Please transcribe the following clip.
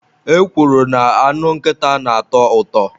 E kwuru na anụ nkịta na-atọ ụtọ.